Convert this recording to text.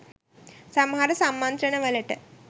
සමහර සම්මන්ත්‍රණ වලට